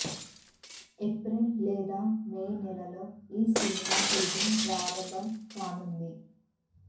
April లేదా May నెలలో ఈ సినిమా షూటింగ్ ప్రారంభం కానుంది